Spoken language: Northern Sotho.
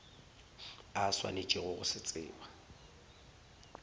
a swanetšego go se tseba